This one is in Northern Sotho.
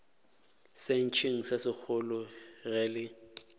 sentšeng se segolo ge le